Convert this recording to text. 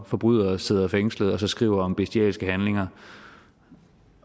forbrydere sidder fængslet og så skriver om bestialske handlinger